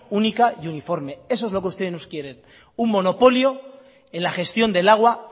única y uniforme eso es lo que ustedes nos quieren un monopolio en la gestión del agua